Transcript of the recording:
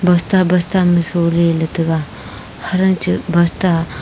busta busta ma sholey ley taga hancha busta--